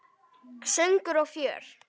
Söngur og fjör.